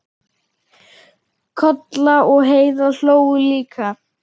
Kolla og Heiða hlógu líka.